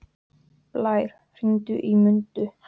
Blær, hringdu í Mundu.